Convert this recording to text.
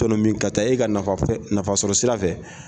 Tɔnɔmin ka taa e ka nafasɔrɔ sira fɛ.